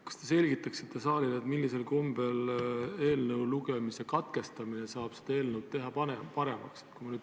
Kas te selgitaksite saalile, millisel kombel eelnõu lugemise katkestamine saab seda eelnõu paremaks teha?